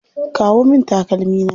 Kawo min takalmi na.